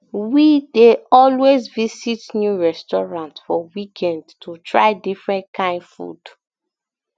we um dey always visit new restaurant for weekend to try different kain food